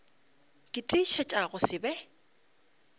ke tiišetša go se be